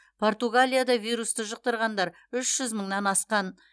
португалияда вирусты жұқтырғандар үш жүз мыңнан асқан